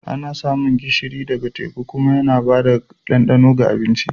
Ana samun gishiri ɗaga teku kuma yana ba da ɗandano ga abinci.